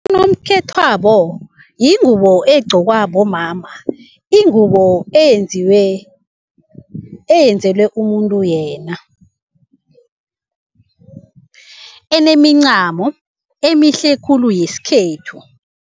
Unokhethwabo yingubo egqokwa bomama, ingubo eyenzelwe umuntu yena, enemincamo emihle khulu yesikhethu.